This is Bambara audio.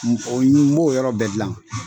Mɔgɔ ɲi n b'o yɔrɔ bɛɛ dilan